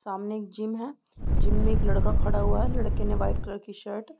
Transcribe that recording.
सामने एक जिम है जिम में एक लड़का खड़ा हुआ है लड़के ने वाइट कलर की शर्ट --